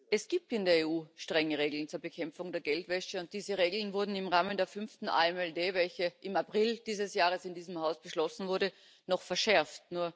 Es gibt in der EU strenge Regeln zur Bekämpfung der Geldwäsche, und diese Regeln wurden im Rahmen der fünften AMLD, welche im April dieses Jahres in diesem Haus beschlossen wurde, noch verschärft.